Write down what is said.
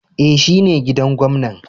E,shine gidan gwamnan.